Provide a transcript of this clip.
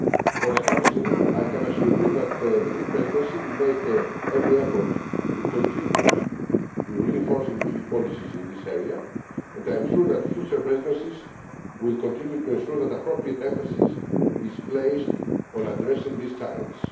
For the Council, I can assure you that the Greek Presidency will make every effort to contribute to reinforcing EU policies in this area, and I am sure that future presidencies will continue to ensure that appropriate emphasis is placed on addressing this challenge.